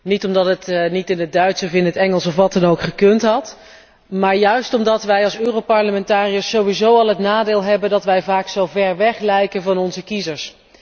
Niet omdat het niet in het Duits of in het Engels of wat dan ook gekund had, maar juist omdat wij als Europarlementariërs al het nadeel hebben dat wij vaak zo ver weg lijken van onze kiezers.